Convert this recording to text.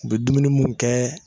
U be dumuni mun kɛ